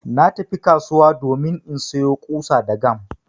Na tafi kasuwa domin insayo ƙusa da gam